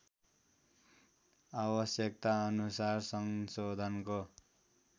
आवश्यकताअनुसार संशोधनको